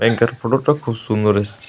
ব্যাংকে র ফটো টা খুব সুন্দর এসেছে।